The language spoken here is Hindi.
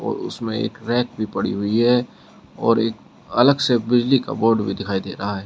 उसमें एक रैक भी पड़ी हुई है और एक अलग से बिजली का बोर्ड भी दिखाई दे रहा है।